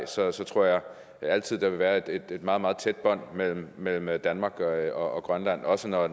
tror jeg altid at være et meget meget tæt bånd mellem mellem danmark og grønland også når